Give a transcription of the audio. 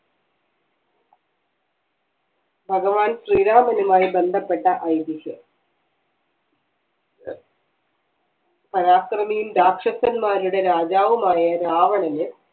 ഭഗവാൻ ശ്രീരാമനുമായി ബന്ധപ്പെട്ട ഐതിഹ്യം പരാക്രമിയും രാക്ഷസന്മാരുടെ രാജാവുമായ രാവണന്